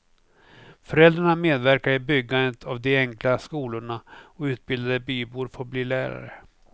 Föräldrarna medverkar i byggandet av de enkla skolorna och utbildade bybor får bli lärare.